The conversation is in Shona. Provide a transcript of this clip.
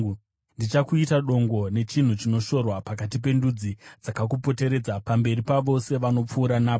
“Ndichakuita dongo nechinhu chinoshorwa pakati pendudzi dzakakupoteredza, pamberi pavose vanopfuura napo.